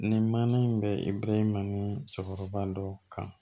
Ni mana in bɛri ma ni cɛkɔrɔba dɔ kan